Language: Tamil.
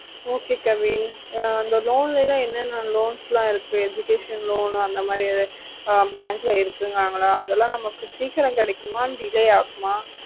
okay kavin அந்த loan ளலாம் என்னனா useful ஆஹ் இருக்கு educational loan அந்த மாதிரி bank ல இருக்குணங்கள அதல நமக்கு சிக்கிறோம் கிடைக்குமா delay ஆகுமா